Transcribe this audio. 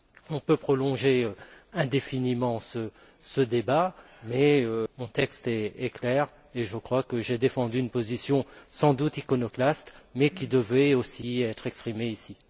On peut prolonger indéfiniment ce débat mais mon texte est clair et je crois que j'ai défendu une position sans doute iconoclaste mais qui devait, aussi, être exprimée ici.